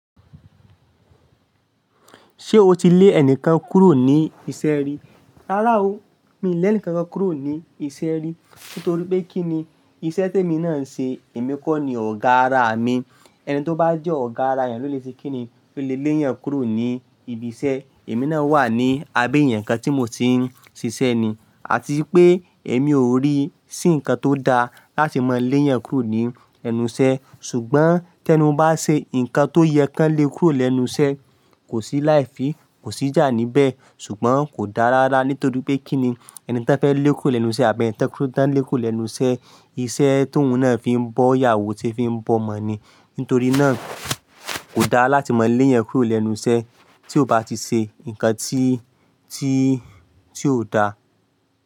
Ṣé o ti lé ẹnìkan kúrò ní isẹ́ rí? Rárá o, mi lé ẹnìkan kan kúrò ní isẹ́ rí. Nítorí pé kí ni, iṣẹ́ tèmi náà ń ṣe, èmi kọ́ ni ọ̀gá ara mi. Ẹni tó bá jẹ́ ọ̀gá ara èèyàn ló lè se kíni, ló lè lé èèyàn kúrò ní ibi iṣẹ́. Èmi náà wà ní abẹ́ ẹ̀yàn kan tí mo ti ń ṣiṣẹ́ ni, àti pé èmi ò rí sí nǹkan tó da láti mọ lé èèyàn kúrò ní ẹnu iṣẹ́. Ṣùgbọ́n tí ẹni un bá ṣe ǹkan tó yẹ kò lé kúrò lẹ́nu iṣẹ́, kò sí láìfị, kò sí jà níbẹ̀. Ṣùgbọ́n kò dáa rárá, nítorí pé kí ni ẹni tò fẹ́ lé kúrò lẹ́nu iṣẹ́ àbí ẹni tò lé kúrò lẹ́nu iṣẹ́, iṣẹ́ tó òun náà fi ń bọ́, ìyàwó ti fi ń bọ̀ mọ́ ni. Nítorí náà, kò dáa láti mọ lé èèyàn kúrò lẹ́nu iṣẹ́ tí ó bá ti ṣe ǹkan tí, tí, tí ò da.